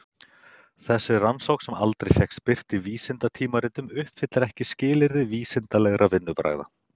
Þessi rannsókn sem aldrei fékkst birt í vísindatímaritum uppfyllir ekki skilyrði vísindalegra vinnubragða.